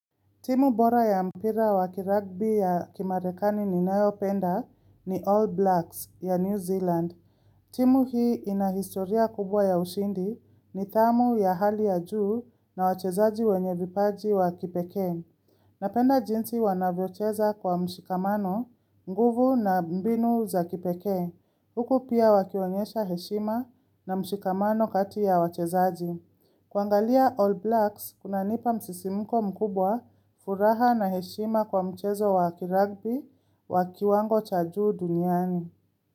Timu bora ya mpira wa kiragbi ya kimarekani ninayo penda ni All Blacks ya New Zealand. Timu hii ina historia kubwa ya ushindi, nidhamu ya hali ya juu, na wachezaji wenye vipaji wa kipekee. Napenda jinsi wanavyocheza kwa mshikamano, nguvu, na mbinu za kipekee. Huku pia wakionyesha heshima na mshikamano kati ya wachezaji. Kuangalia All Blacks, kunanipa msisimuko mkubwa, furaha na heshima kwa mchezo wa kirugby, wa kiwango cha juu duniani.